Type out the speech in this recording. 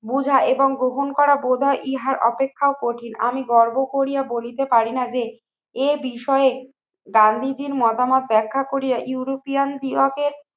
বোঝা এবং গ্রহণ করা বোধয় ইহার অপেক্ষাও কঠিন। আমি গর্ব করিয়া বলিতে পারি না যে এ বিষয়ে গান্ধীজীর মতামত ব্যাখ্যা করিয়া ইউরোপিয়ান বিভাগের